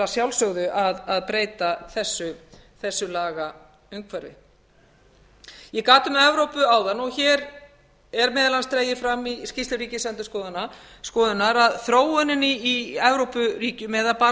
sjálfsögðu að breyta þessu lagaumhverfi ég gat um evrópu áðan og hér er meðal annars dregið fram í skýrslu ríkisendurskoðunar að þróunin í evrópuríkjum eða bara